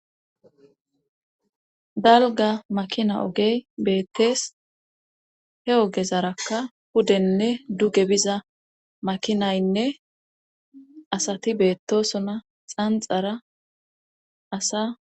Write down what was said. Dalga makina ogey beettees he ogezarakka pudenne duge biza makinaynne asati beettosona xanxara asa.